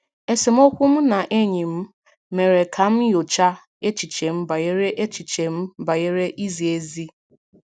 Esemokwu m na enyi m mere ka m nyochaa echiche m banyere echiche m banyere izi ezi.